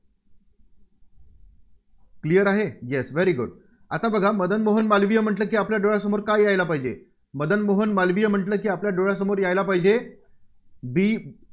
Clear आहे? Yes Very Good आता बघा मदन मोहन मालवीय म्हटलं की आपल्या डोळ्यांसमोर काय यायला पाहिजे? मदन मोहन मालवीय म्हटलं की आपल्या डोळ्यांसमोर यायला पाहिजे The